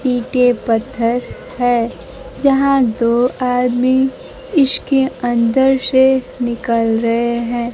ईंटे पत्थर है जहां दो आदमी इसके अंदर से निकल रहे हैं।